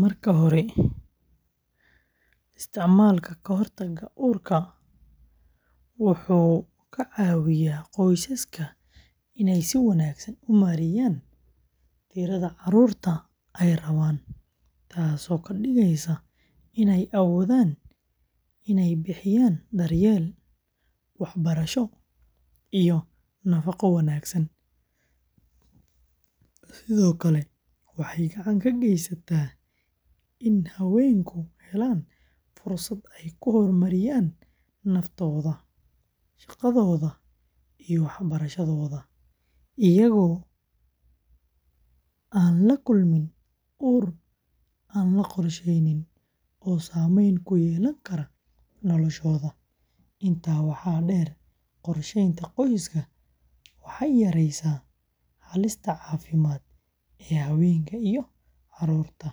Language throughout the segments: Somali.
Marka hore istiicmalak ka hor taaga uurka wuxu ka cawiya qoysaska iney si wanaagsaan umaareyan tiraada carurta ee rawan taas oo kadiigeyso in ee awoodan iney bixiyan daryel waxbaraasho iyo naafaco wanaagsaan sidhoo kale waxey gacan ka geysata in hawenku helan fursad eey ku hormariyan naftooda shaqadhodaa iyo waxbarashadhoda iyaago aan la kulmin uur ama qorsheynin oo sameyn kuyelan karo naftoda intaa waxa deer qorsheyta qoyska waxey yariysa halista cafimaad hawenka iyo carurta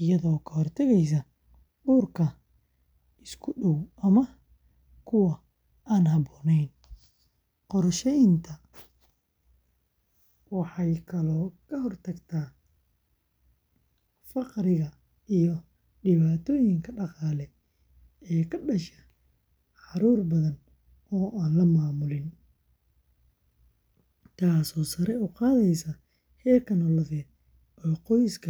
iyadho ka hortaageyso uurka iskuudaw ama kuwa aan habonen qorsheytan waxa kale aye ka hortaagta faqriiga iyo diwaatoyinka daqaale ee kale ee kadaasha carur badan oo lamamulin taasi oo uqaadeso heerka nolalde qoyska.